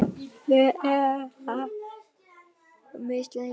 Við erum harmi slegin.